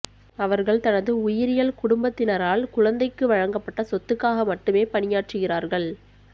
அவர்கள் தனது உயிரியல் குடும்பத்தினரால் குழந்தைக்கு வழங்கப்பட்ட சொத்துக்காக மட்டுமே பணியாற்றுகிறார்கள்